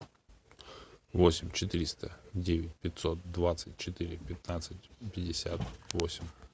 восемь четыреста девять пятьсот двадцать четыре пятнадцать пятьдесят восемь